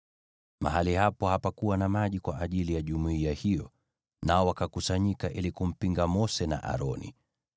Mahali hapo hapakuwa na maji kwa ajili ya jumuiya hiyo, nao wakakusanyika ili kumpinga Mose na Aroni.